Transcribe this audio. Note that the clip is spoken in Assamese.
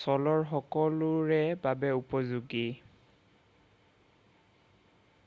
ছ'লৰ সকলোৰে বাবে উপযোগী